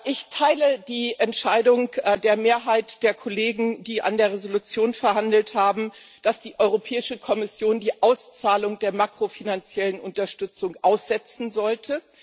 Ich teile die Entscheidung der Mehrheit der Kollegen, die über die Entschließung verhandelt haben, dass die Europäische Kommission die Auszahlung der makrofinanziellen Unterstützung aussetzen sollte.